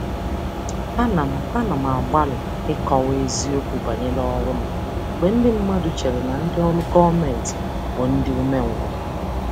Ana m Ana m agbalị ịkọwa eziokwu banyere ọrụ m mgbe ndị mmadụ chere na ndị ọrụ gọọmentị bụ ndị umengwụ.